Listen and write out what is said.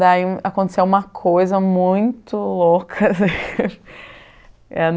Daí, aconteceu uma coisa muito louca.